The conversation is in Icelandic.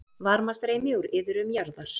Varmastreymi úr iðrum jarðar